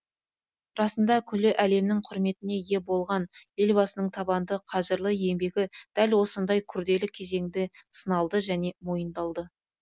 расында күллі әлемнің құрметіне ие болған елбасының табанды қажырлы еңбегі дәл осындай күрделі кезеңде сыналды және мойындалды